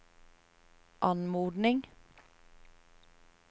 anmodning